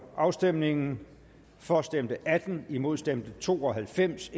afstemningen for stemte atten imod stemte to og halvfems